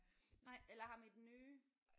Nej eller ham i den nye?